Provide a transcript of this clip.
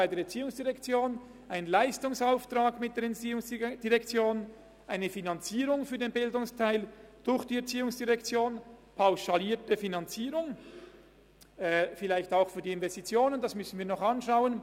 Sie haben einen Leistungsauftrag mit der ERZ, eine Finanzierung für den Bildungsteil durch die ERZ, eine pauschalierte Finanzierung – vielleicht auch für die Investitionen, das müssen wir noch schauen.